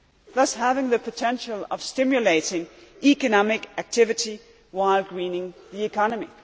thus having the potential to stimulate economic activity while greening the economy.